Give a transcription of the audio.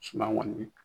Suma kɔni